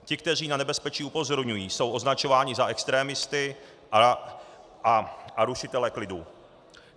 Ti, kteří na nebezpečí upozorňují, jsou označováni za extremisty a rušitele klidu.